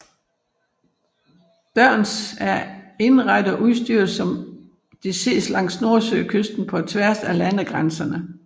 Dørns er indrettet og udstyret som det ses langs nordsøkysten på tværs af landegrænserne